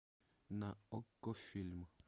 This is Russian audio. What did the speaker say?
на окко фильм